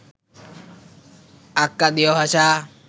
আক্কাদীয় ভাষা